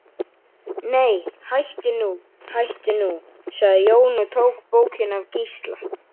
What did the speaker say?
Nei, hættu nú, hættu nú, sagði Jón og tók bókina af Gísla.